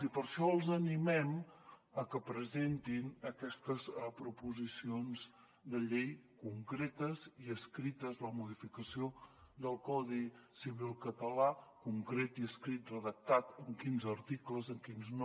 i per això els animem a que presentin aquestes proposicions de llei concretes i escrites la modificació del codi civil català concret i escrit redactat en quins articles en quins no